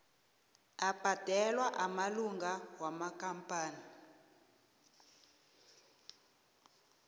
abhadelwa amalunga wamakampani